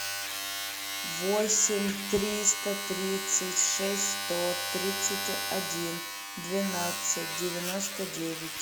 восемь триста тридцать шесть сто тридцать один двенадцать девяносто девять